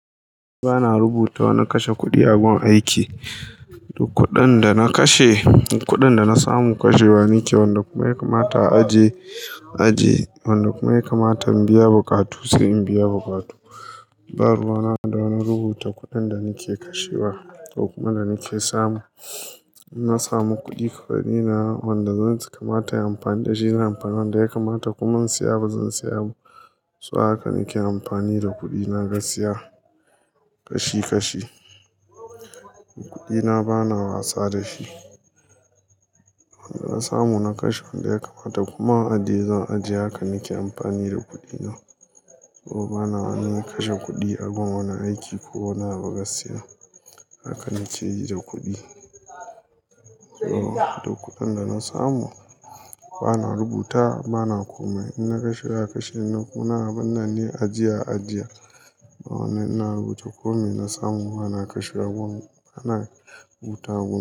Ba na rubuta na kashe kuɗi abin aiki. Duk kuɗin da na kashe, kuɗin da na samu kashewa nike wanda kuma ya kamata a ajiye, a ajiye wanda kuma ya kamata in biya buƙatu sai in biya buƙatu. Ba ruwana da wani rubuta kuɗin da nike kashewa ko kuma da nike samu. In na samu kuɗi kafani na wanda zan ci kamata yin amfani da shi na yi amfani wanda ya kamata kuma in siya ba zan siya ba. So haka nike amfani da kuɗi na gaskiya kashi kashi. Kuɗi na bana wasa da shi. Wanda na samu na kashe wanda ya kamata kuma a dai zan ajiye haka nike amfani da kuɗi na. To bana wani kashe kuɗi a gun wani aiki ko wani ba gaskiya. Haka nike yi da kuɗi. To da kuɗin da na samu bana rubuta bana kome in na kashe hakan shi in na kuna bana ne ajiye a ajiye. Wane ina rubuta komai na samu ana kashe a gun bana rubuta gun.